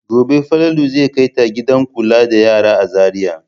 Gobe Falalu zai kai ta gidan kula da yara a Zariya.